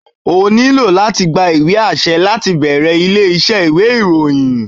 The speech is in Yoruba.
O ní láti gba ìwé àṣẹ láti bẹ̀rẹ̀ ilé iṣẹ́ ìwé ìròyìn.